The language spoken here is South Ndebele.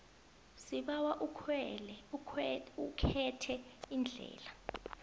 sibawa ukhethe iindlela